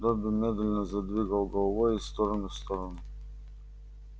добби медленно задвигал головой из стороны в сторону